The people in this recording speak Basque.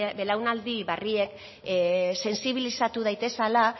belaunaldi berriek sentsibilizatu daitezala